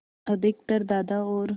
अधिकतर दादा और